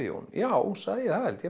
Jón já sagði ég það held